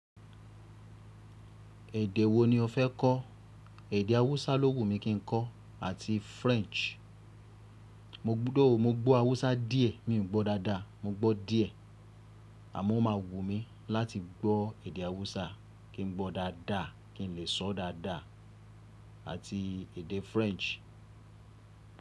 Èdè wo ni o fẹ́ kọ́? Èdè Hausa ló wù mí kí n kọ́ àti French. Mo gbọ́dọ̀, mo gbọ́ Hausa díẹ̀, mi ò gbọ́ dáadáa, mo gbọ́ díẹ̀. Àmọ́ ó máa wù mí láti gbọ́ èdè Hausa kí n gbọ́ dáadáa, kí n lè sọ dáadáa àti èdè French.